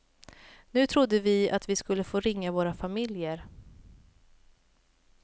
Nu trodde vi att vi skulle få ringa våra familjer.